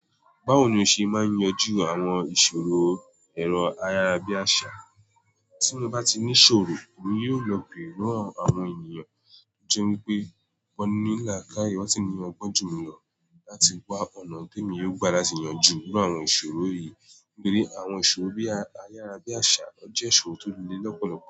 Báwo ni o ṣe máa yanjú àwọn ìṣòro ẹ̀rọ ayárabíàṣá? Tí mo bá ti ní ṣòro, èmi yóò lọ beere lọ́wo àwọn ènìyàn. To jẹ́ wípé won ní làkáye wọ́n sí ní ọgbọ́n jù mí lọ láti gbá ọ̀nà temi yóò gba láti yanjú iru àwọn ìṣòro yìí. Torí àwọn ìṣòro bí ayárabíàṣá náà jẹ́ ìṣòro tó le lọ́pọ̀lọpọ̀